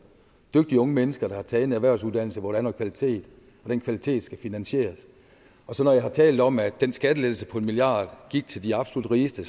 dygtige unge mennesker der har taget en erhvervsuddannelse hvor der er noget kvalitet den kvalitet skal finansieres når jeg har talt om at den skattelettelse på en milliard kroner gik til de absolut rigeste